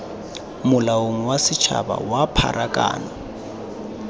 molaong wa bosetshaba wa pharakano